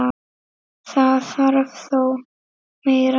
Það þarf þó meira til.